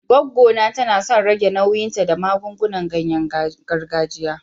Goggo ta na son rage nauyinta da magungunan ganye gargajiya.